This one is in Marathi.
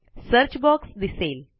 सर्च बॉक्स दिसेल